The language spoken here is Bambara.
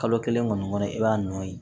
Kalo kelen kɔni kɔnɔ i b'a nɔɔni